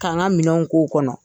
K'an ka minɛnw k'o kɔnɔ.